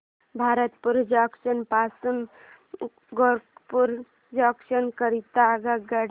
Bharatpur junction पासून Gorakhpur junction करीता आगगाडी